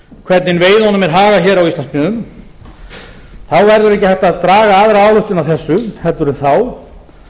hvernig veiðinni er hagað hér á íslandsmiðum verður ekki hægt að draga aðra ályktun af þessu en þá